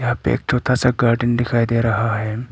यहां पे एक छोटा सा गार्डन दिखाई दे रहा है।